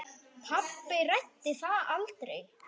Pabbi ræddi það aldrei.